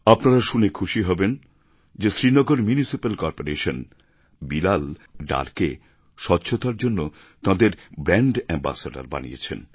আপনারা শুনে খুশি হবেন যে শ্রীনগর ম্যুনিসিপ্যাল কর্পোরেশান বিলাল ডারকে স্বচ্ছতার জন্য তাঁদের ব্র্যাণ্ড অ্যামবাসেডর বানিয়েছেন